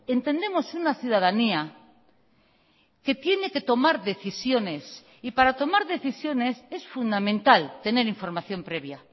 entendemos una ciudadanía que tiene que tomar decisiones y para tomar decisiones es fundamental tener información previa